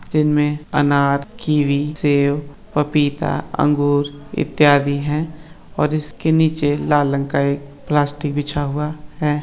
जिनमे में अनार कीवी सेब पपीता अंगूर इत्यादि है और इसके नीचे लाल रंग का एक प्लास्टिक बिछा हुआ है।